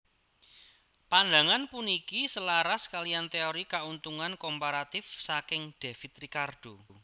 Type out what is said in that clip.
Pandangan puniki selaras kaliyan téori Kauntungan Komparatif saking David Ricardo